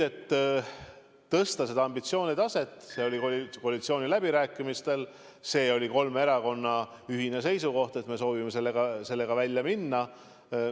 Et tõsta seda ambitsioonitaset, oli koalitsiooniläbirääkimistel kolme erakonna ühine seisukoht, et me soovime sellega välja minna.